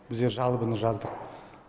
біздер жалобыны жаздық